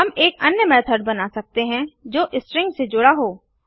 हम एक अन्य मेथड बना सकते हैं जो स्ट्रिंग से जुड़ा हो